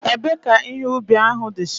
Ebe ka ihe ubi ahu dicha?